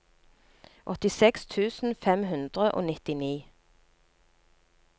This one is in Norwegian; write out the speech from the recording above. åttiseks tusen fem hundre og nittini